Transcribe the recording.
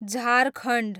Jharkhand